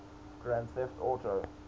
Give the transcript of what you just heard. grand theft auto